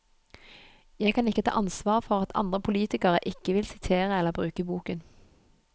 Jeg kan ikke ta ansvar for at andre politikere ikke vil sitere eller bruke boken.